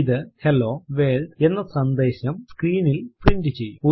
ഇത് hello world എന്ന സന്ദേശം സ്ക്രീനിൽ പ്രിന്റ് ചെയ്യും